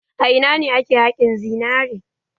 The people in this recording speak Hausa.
A ina ne ake haƙin zinare?